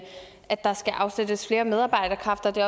at der skal afsættes flere medarbejderkræfter det